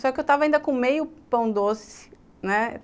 Só que eu tava ainda com meio pão doce, né?